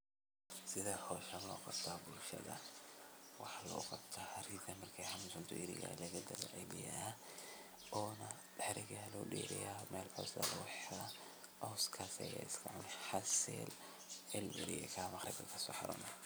sidee hawsha loo qabta bulshadaada? waxaa loogu qabta xarigga ayaa laga dabciya oo loo dheereeya caswka ayeyna sidaas ku cunda ama ku daaqdaa ilaa laga gaaro xiliga xareynta.